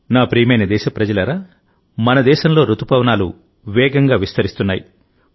నా ప్రియమైన దేశప్రజలారామన దేశంలో రుతుపవనాలు నిరంతరం విస్తరిస్తున్నాయి